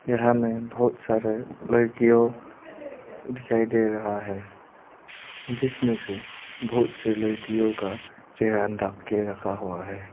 यहां में बहोत सारे लड़कियों दिखाई दे रहा है जिसमें से बहोत से लड़कियों का चेहरा ढक के रखा हुआ है।